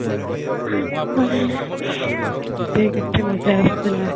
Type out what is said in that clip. ସେତେବେଳେ କେତେ ମଜା ଆସୁଥିଲା